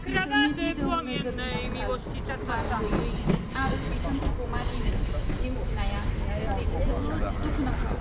बिसोरनि दिदोम नोजोरनि आंखाल, मानगैयै, आरो बिथोनफोरखौ मानिनो नेवसिनाया थारैनो जोबोद दुखुनांथाव।